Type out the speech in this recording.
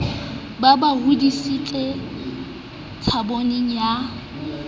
ba ba hodisetsa tshabong ya